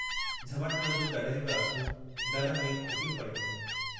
बज़ार जा दुकानदार बि अची पुछी विया।